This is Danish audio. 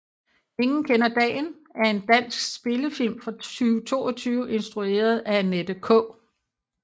Ingen kender dagen er en dansk spillefilm fra 2022 instrueret af Annette K